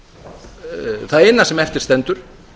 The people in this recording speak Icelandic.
það eina sem eftir stendur